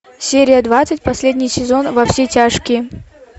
серия двадцать последний сезон во все тяжкие